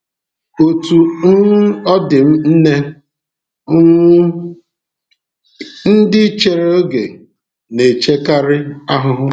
Otú um ọ dị, nne um ndị chere oge na-emekarị ahụhụ.